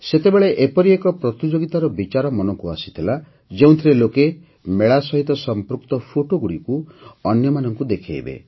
ସେତେବେଳେ ଏପରି ଏକ ପ୍ରତିଯୋଗିତାର ବିଚାର ମନକୁ ଆସିଥିଲା ଯେଉଁଥିରେ ଲୋକେ ମେଳା ସହିତ ସଂପୃକ୍ତ ଫଟୋଗୁଡ଼ିକୁ ଅନ୍ୟମାନଙ୍କୁ ଦେଖାଇବେ